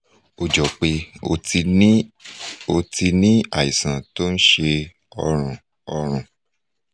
ó jọ pé o ti ní o ti ní àìsàn tó ń ṣe ọrùn ọrùn